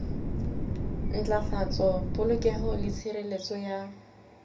ntlafatsa polokeho le tshireletso ya